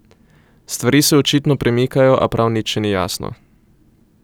Stvari se očitno premikajo, a prav nič še ni jasno.